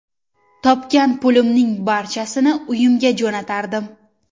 Topgan pulimning barchasini uyimga jo‘natardim.